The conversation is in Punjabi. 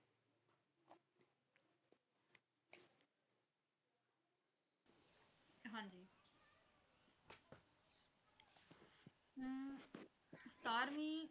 ਸਤਾਰਵੀਂ